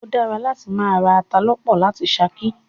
O dára láti máa ra ata lọ́pọ̀ láti ṣakí.